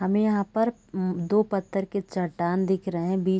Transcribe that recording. हमे यहाँ पर ऊ दो पत्थर के चट्टान दिख रहे है बी--